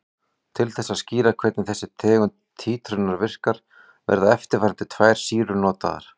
Til þess að skýra hvernig þessi tegund títrunar virkar verða eftirfarandi tvær sýrur notaðar.